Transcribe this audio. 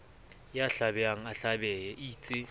ya hlabehang a hlabehe eitse